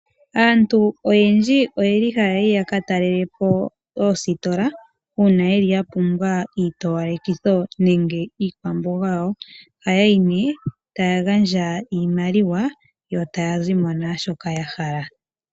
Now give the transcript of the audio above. Aantu oyendji ohaya yi ya ka talele po oositola uuna ya pumbwa iitowalekitho nenge iikwamboga yawo. Ojhaya yi nduno yo taya gandja iimaliwa yo taya zi mo naashoka ya hala.